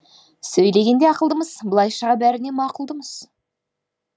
сөйлегенде ақылдымыз былай шыға бәріне мақұлдымыз